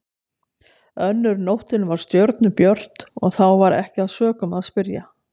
Önnur nóttin var stjörnubjört og þá var ekki að sökum að spyrja.